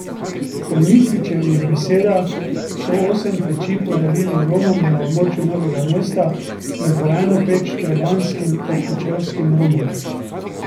Po Mikličevih besedah so osem peči podarili Romom na območju Novega mesta in po eno peč trebanjskim ter kočevskim Romom.